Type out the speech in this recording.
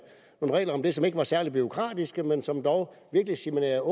nogle regler om det som ikke var særlig bureaukratiske men som dog virkelig signalerede